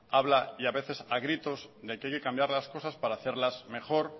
habla y a veces a gritos de que hay que cambiar las cosas para hacerlas mejor